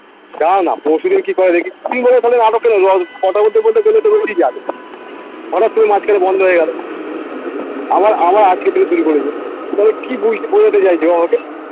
দাঁড়াও না পরশুদিন কি করে দেখি তুই বলবে তাহলে নাটকটা কথা বলতে বলতে গেলে তো ও ই যাবে হটাৎ করে করে মাঝখানে বন্ধ হয়ে গেলো আবার আবার আজকের থেকে শুরু করেছে মানে কি বুঝতে বোঝাতে চাইছে ও আমাকে